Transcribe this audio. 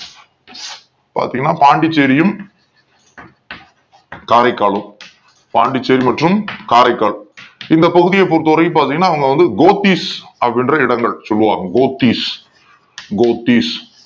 பாத்தீங்கன்னா பாண்டிச் சேரியில் காரைக்கால் பாண்டிச்சேரி மற்றும் காரைக்கால் இந்த பகுதியை பொருத்தவரைக்கும் பாத்தீங்கன்னா அவங்க வந்து கோத்திஸ் அப்படின்ற இடங்கள் சொல் லுவாங்க கோத்தீஸ் கோத்தீஸ்